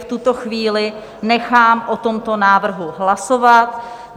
V tuto chvíli nechám o tomto návrhu hlasovat.